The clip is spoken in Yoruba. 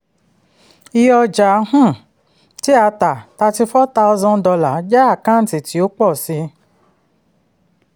iye ọjà um tí a tà thirty four thousand dollar jẹ́ àkáǹtì tí ó pọ̀ sí i.